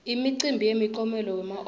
imicimbi yemiklomelo wema oscar